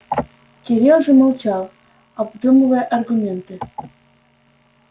кирилл замолчал обдумывая аргументы